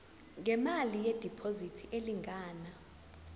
ngemali yediphozithi elingana